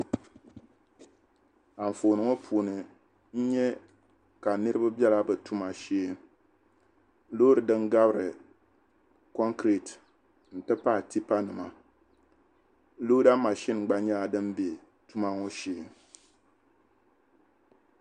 Anfooni ŋɔ puuni n nya ka niriba bela be tuma shee. Loori din gabiri kɔŋkireeti nti pahi tipanima looda mashin gba nyɛla dim be tuma ŋɔ shee.